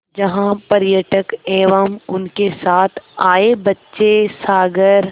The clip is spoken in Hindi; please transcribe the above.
जहाँ पर्यटक एवं उनके साथ आए बच्चे सागर